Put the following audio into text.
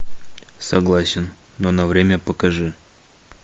согласен но на время покажи